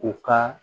U ka